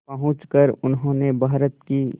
पहुंचकर उन्होंने भारत की